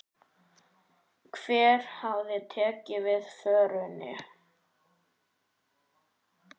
Hver hafi tekið við vörunni?